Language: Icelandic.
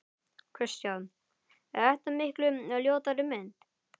Kristján: Er þetta miklu ljótari mynd?